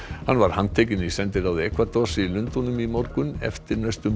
hann var handtekinn í sendiráði í Lundúnum í morgun eftir næstum